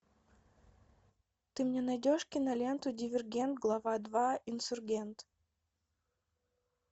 ты мне найдешь киноленту дивергент глава два инсургент